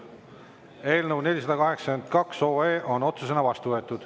Eelnõu 482 on otsusena vastu võetud.